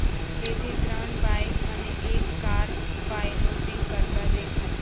બેથી ત્રણ બાઈક અને એક કાર પાઈલોટિંગ કરતા દેખાઈ